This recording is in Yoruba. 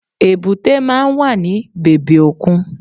Èbúté máa n wà ní bèbè òkun